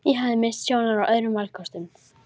Ég hafði misst sjónar á öðrum valkostum.